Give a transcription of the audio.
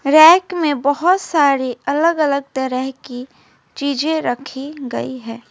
Back में बहोत सारे अलग अलग तरह की चीजें रखी गई है।